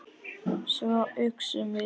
Svo uxum við úr grasi.